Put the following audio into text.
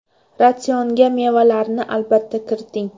Ratsionga mevalarni albatta kiriting.